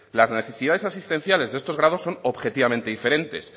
las necesidades asistenciales de estos grados son objetivamente diferentes